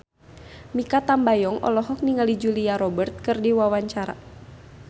Mikha Tambayong olohok ningali Julia Robert keur diwawancara